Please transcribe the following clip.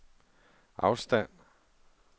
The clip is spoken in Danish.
afstand